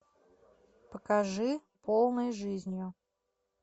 покажи полной жизнью